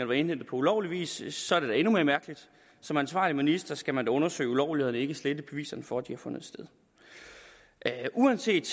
var indhentet på ulovlig vis så er det da endnu mere mærkeligt som ansvarlig minister skal man undersøge ulovlighederne og ikke slette beviserne for at de har fundet sted uanset